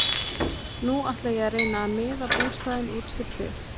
Nú ætla ég að reyna að miða bústaðinn út fyrir þig.